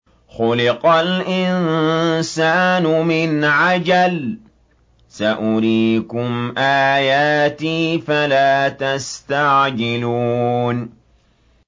خُلِقَ الْإِنسَانُ مِنْ عَجَلٍ ۚ سَأُرِيكُمْ آيَاتِي فَلَا تَسْتَعْجِلُونِ